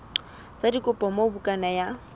sa dikopo moo bukana ya